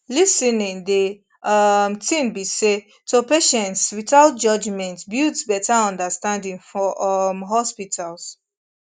lis ten ing de um tin be say to patients without judgment builds betta understanding for um hospitals